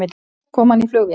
Kom hann í flugvél?